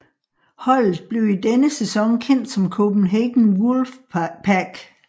Holdet blev i denne sæson kendt som Copenhagen Wolfpack